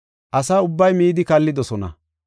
Asa ubbay midi kallidosona.